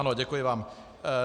Ano, děkuji vám.